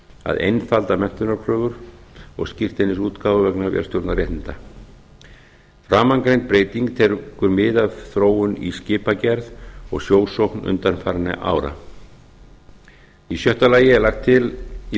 að einfalda menntunarkröfur og skírteinisútgáfu vegna vélstjórnaréttinda framangreind breyting tekur mið af þróun í skipagerð og sjósókn undanfarinna ára sjötta lagt er til í